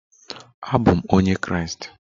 Abụ m onye Kraịst.